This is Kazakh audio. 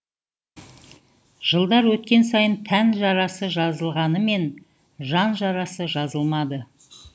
жылдар өткен сайын тән жарасы жазылғанымен жан жарасы жазылмады